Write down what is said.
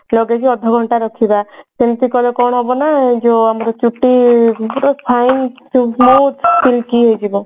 ଲଗେଇକି ଅଧ ଘଣ୍ଟା ରଖିବା ଏମତି କଲେ କଣ ହେବ ନା ଯୋଉ ଆମର ଚୁଟି ପୁରା fine silky ହେଇଯିବ